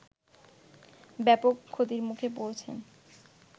ব্যাপক ক্ষতির মুখে পড়েছেন